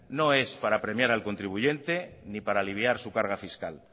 no es para premiar al contribuyente ni para aliviar su carga fiscal